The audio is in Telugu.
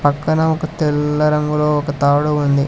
పక్కన ఒక తెల్ల రంగులో ఒక తాడు ఉంది.